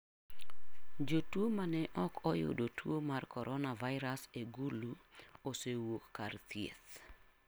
Jotuo ma ne ok oyudo tuo mar coronavirus e Gulu osewuok kar thieth.